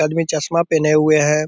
आदमी चश्मा पहने हुए है।